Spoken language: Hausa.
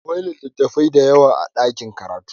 Akwai littattafai da yawa a ɗakin karatu.